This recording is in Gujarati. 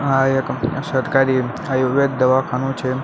આ એક સરકારી આયુર્વેદ દવાખાનુ છે.